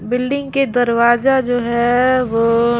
बिल्डिंग के दरवाजा जो है वो--